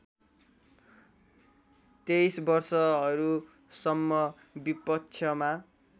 २३ वर्षहरूसम्म विपक्षमा